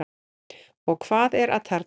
Og hvað er atarna?